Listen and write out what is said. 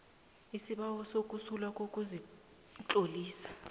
isibawo sokusulwa kokuzitlolisela